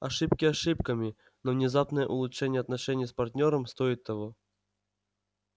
ошибки ошибками но внезапное улучшение отношений с партнёром стоит того